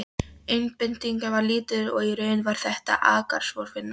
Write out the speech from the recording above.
Einbeitingin var lítil og í raun var þetta akkorðsvinna.